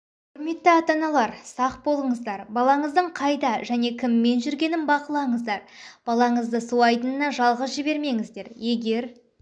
құрметті ата-аналар сақ болыңыздар балаңыздың қайда және кіммен жүргенін бақылаңыздар балаңызды су айдынына жалғыз жібермеңіздер егер